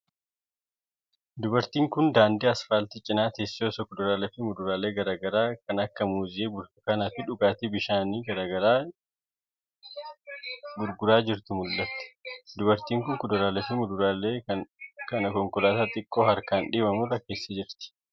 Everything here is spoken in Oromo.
Dubartiin kun, daandii asfaaltii cinaa teessee osoo kuduraalee fi muduraalee garaa garaa kan akka :muuzii, burtukaana fi dhugaatii bishaanii gurguraa jirtuu mul'atti. Dubartiin kun, kuduraalee fi muduraalee kana konkolaataa xiqqoo harkaan dhiibamu irra keessee jirti.